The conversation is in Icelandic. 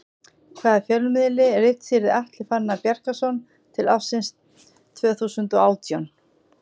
Hvaða fjölmiðli ritstýrði Atli Fannar Bjarkason til ársins tvö þúsund og átján?